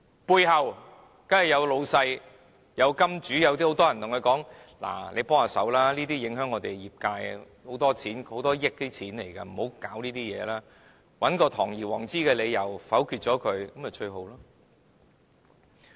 背後當然有老闆、金主，有很多人叫他們幫忙，這樣會影響業界的，涉及很多錢的，很多億元的，切勿不要觸及這些事，找一個堂而皇之的理由，否決《條例草案》便最好。